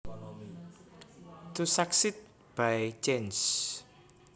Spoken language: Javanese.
To succeed by chance